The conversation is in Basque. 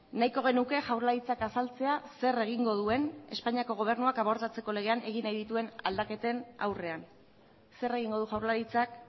nahiko genuke jaurlaritzak azaltzea zer egingo duen espainiako gobernuak abortatzeko legean egin nahi dituen aldaketen aurrean zer egingo du jaurlaritzak